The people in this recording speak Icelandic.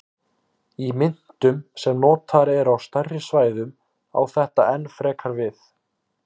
Í myntum sem notaðar eru á stærri svæðum á þetta enn frekar við.